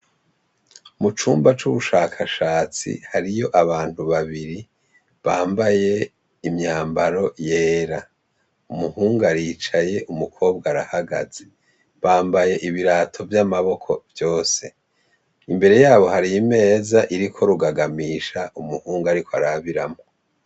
Mu cumba c'ubushakashatsi hariyo abantu babiri bambaye imyambaro yera. Umuhungu aricaye, umukobwa arahagaze. Bambaye ibirato vy'amaboko vyose. Imbere yabo hari imeza iriko urugagamisha umuhungu ariko arabiramwo.